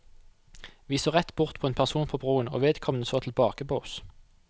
Vi så rett bort på en person på broen, og vedkommende så tilbake på oss.